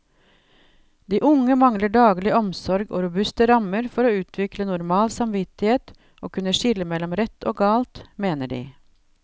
De unge mangler daglig omsorg og robuste rammer for å utvikle normal samvittighet og kunne skille mellom rett og galt, mener de.